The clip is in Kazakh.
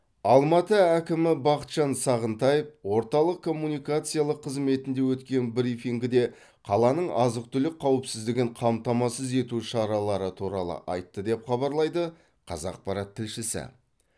алматы әкімі бақытжан сағынтаев орталық коммуникациялық қызметінде өткен брифингіде қаланың азық түлік қауіпсіздігін қамтамасыз ету шаралары туралы айтты деп хабарлайды қазақпарат тілшісі